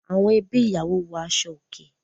Àwọn ẹbí ìyàwó wọ aṣọ òkè.